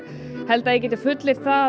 held að ég geti fullyrt að